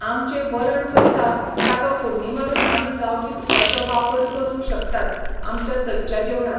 आमचें वरण करतां ताका फोडणीं मारून आमीं गांवठी तुपाचो वापर करूंक शकतात आमच्या सदच्या जेवणांत